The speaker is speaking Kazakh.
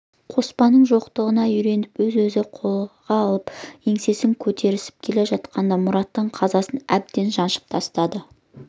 қоспанның жоқтығына үйреніп өзін-өзі қолға алып еңсесін көтеріп келе жатқанда мұраттың қазасы әбден жаншып тастады